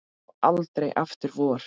Og aldrei aftur vor.